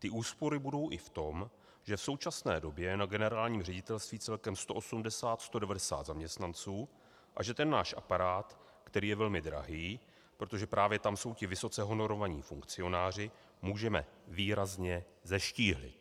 Ty úspory budou i v tom, že v současné době na Generálním ředitelství celkem 180, 190 zaměstnanců a že ten náš aparát, který je velmi drahý, protože právě tam jsou ti vysoce honorovaní funkcionáři, můžeme výrazně zeštíhlit.